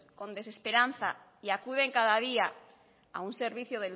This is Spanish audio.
con desesperanza y acuden cada día a un servicio